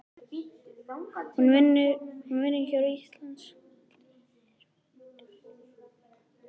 Hún vinnur hjá Íslenskri erfðagreiningu.